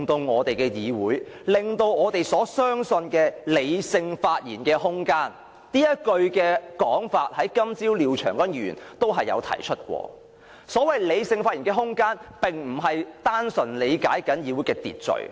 我的意思是，我們所相信的理性發言的空間——這種說法，廖長江議員今天早上亦有提出——並非單純理解為議會的秩序。